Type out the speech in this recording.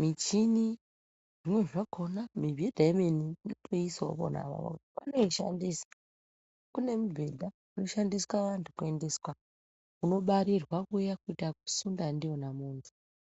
michini zvimweni zvakona mibhedha yemene tinotoisawo pona apapo vanoishandisa kune mibhedha inoshandisa vanhu kuendeswa kunobarirwa kuya kuita yekusunda ndiyona muntu.